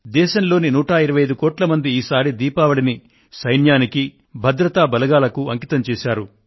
దేశంలోని 125 కోట్ల మంది ఈసారి దీపావళిని సైన్యానికి భద్రతా బలగాలకు అంకితం చేశారు